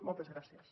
moltes gràcies